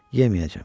Yeməyəcəm.